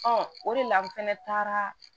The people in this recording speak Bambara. o de la n fɛnɛ taara